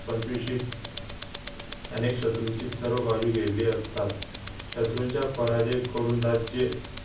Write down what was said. पंचविशीत अनेक शत्रूंची सर्व बाजू घेतली असतात शत्रूंच्या पराजय करून राज्ये